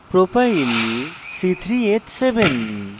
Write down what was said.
propyl propyl c3h7